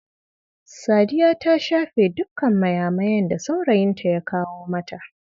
Sadiya ta shafe dukkan mayamayan da saurayinta ya kawo mata.